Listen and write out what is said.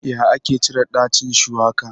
Ya ake cire ɗacin shuwaka?